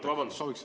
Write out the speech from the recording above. Ei, vabandust!